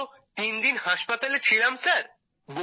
আমি তো তিনদিন হাসপাতালে ছিলাম স্যার